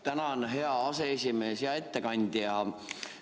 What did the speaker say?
Tänan, hea aseesimees ja ettekandja!